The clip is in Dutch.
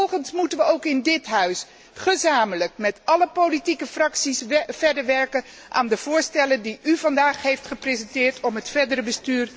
Vervolgens moeten we ook in dit Huis, gezamenlijk met alle politieke fracties, verder werken aan de voorstellen die u vandaag heeft gepresenteerd om het verdere bestuur te versterken.